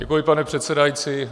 Děkuji, pane předsedající.